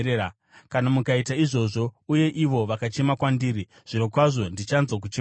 Kana mukaita izvozvo uye ivo vakachema kwandiri, zvirokwazvo ndichanzwa kuchema kwavo.